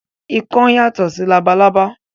Ikán yàtọ̀ sí labalábá